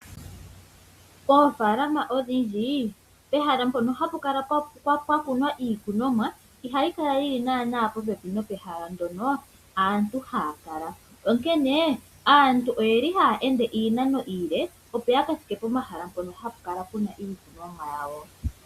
Poofalama odhindji pehala mpono hapu kala pakunwa iikunomwa ihayi kala yili naanaa nopehala ndono aantu haya kala. Onkene aantu oyeli haya ende iinano iile opo yaka thike pomahala mpono hapa kala puna iikunomwa yawo.